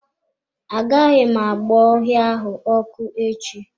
Aga m agba ọhịa ahụ ọkụ echi.